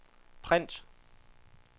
print